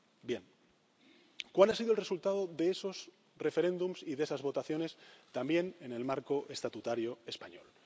Bien, ¿cuál ha sido el resultado de esos referéndums y de esas votaciones también en el marco estatutario español?